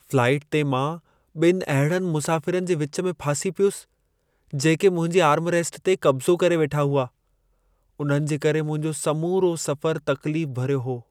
Flight ते मां ॿिनि अहिड़नि मुसाफ़िरनि जे विच में फासी पियुसि, जेके मुंहिंजी आर्मरेस्ट ते कब्ज़ो करे वेठा हुआ। उन्हनि जे करे मुंहिंजो समूरो सफ़र तकलीफ़ भरियो हो।